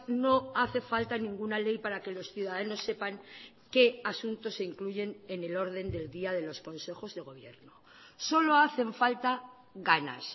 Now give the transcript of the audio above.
no hace falta ninguna ley para que los ciudadanos sepan qué asuntos se incluyen en el orden del día de los consejos de gobierno solo hacen falta ganas